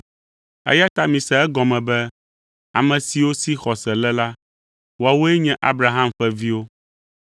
Eya ta mise egɔme be ame siwo si xɔse le la, woawoe nye Abraham ƒe viwo.